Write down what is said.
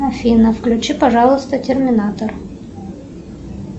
афина включи пожалуйста терминатор